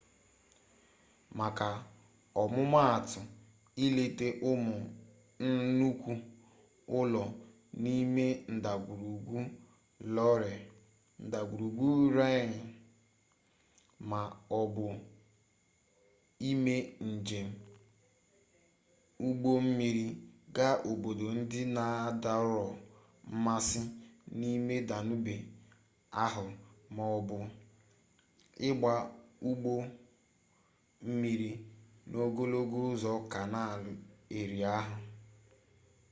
maka ọmụmatụ ileta ụmụ nnukwu ụlọ n'ime ndagwurugwu loire ndagwurugwu rhine ma ọ bụ ime njem ụgbọ mmiri gaa obodo ndị na-adọrọ mmasị n'ime danube ahụ ma ọ bụ ịgba ụgbọ mmiri n'ogologo ụzọ kanaal erie ahụ